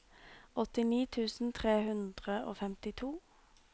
åttini tusen tre hundre og femtito